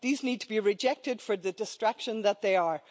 These need to be rejected for the distraction that they are.